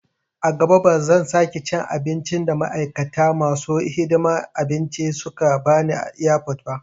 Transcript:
A gaba ba zan sake cin abin da ma'aikata masu hidiman abinci suka bani airport ba